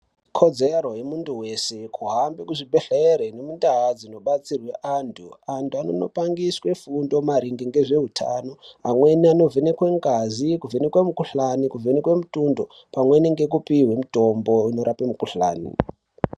Ikodzero yemuntu weshe kuhambe kuzvibhehlere nendau dzinobatsirwe antu ,antu anondo pangidzwe fundo maringe nezveutano amweni anovhekwe ngazi kuvhenekwe muhkuhlani ,kuvhenekwe mutundo, pamweni nekupiwe mitombo inorape mikhuhlani.